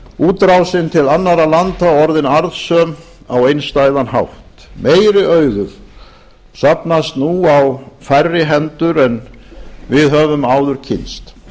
útrásin til annarra landa orðin arðsöm á einstæðan hátt meiri auður safnast nú á færri hendur en við höfum áður kynnst